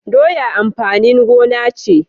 Doya amfanin gona ce